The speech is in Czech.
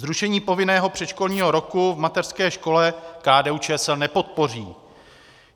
Zrušení povinného předškolního roku v mateřské škole KDU-ČSL nepodpoří.